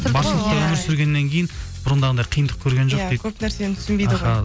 өмір сүргеннен кейін бұрындағындай қиындықтар көрген жоқ дейді иә көп нәрсені түсінбейді аха